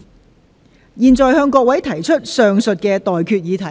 我現在向各位提出上述待決議題。